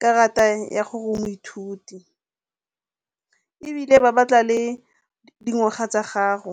karata ya gore o moithuti, ebile ba batla le dingwaga tsa gago.